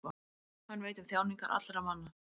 Hann veit um þjáningar allra manna.